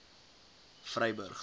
vryburg